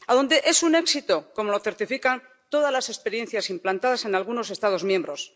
A donde es un éxito, como lo certifican todas las experiencias implantadas en algunos Estados miembros.